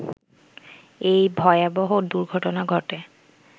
এই ভয়াবহ দুর্ঘটনা ঘটে